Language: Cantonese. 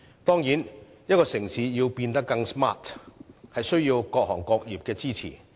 當然，一個城市要變得更 smart， 必須得到各行各業的支持。